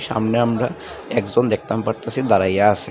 সামনে আমরা একজন দেখতাম পারতাসি দাঁড়াইয়া আসে ।